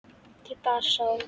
Ég bara sá.